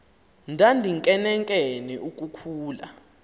ndandinkenenkene uku khula